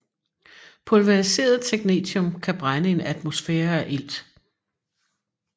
Pulveriseret technetium kan brænde i en atmosfære af ilt